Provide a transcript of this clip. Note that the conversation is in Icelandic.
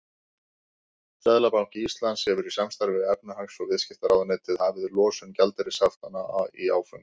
Seðlabanki Íslands hefur í samstarfi við efnahags- og viðskiptaráðuneytið hafið losun gjaldeyrishaftanna í áföngum.